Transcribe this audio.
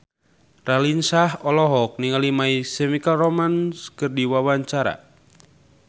Raline Shah olohok ningali My Chemical Romance keur diwawancara